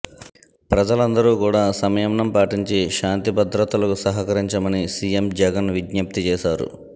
ప్రజలందరుకూడా సంయమనం పాటించి శాంతి భద్రతలకు సహకరించమని సీఎం జగన్ విజ్ఞప్తి చేశారు